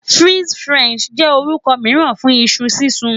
Fries Faranse jẹ orukọ miiran fun iṣu sisun